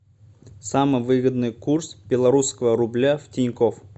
самый выгодный курс белорусского рубля в тинькоф